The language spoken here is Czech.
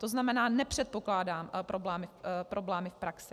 To znamená, nepředpokládám problémy v praxi.